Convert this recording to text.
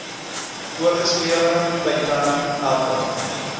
voorgeskrewe tydperk elke